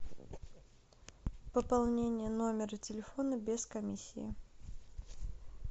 пополнение номера телефона без комиссии